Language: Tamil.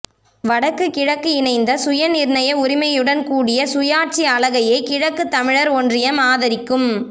வடக்கு கிழக்கு இணைந்த சுயநிர்ணய உரிமையுடன் கூடிய சுயாட்சி அலகையே கிழக்குத்தமிழர் ஒன்றியம் ஆதரிக்கும்